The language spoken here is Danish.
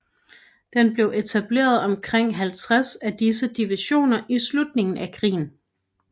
Der blev etableret omkring 50 af disse divisioner i slutningen af krigen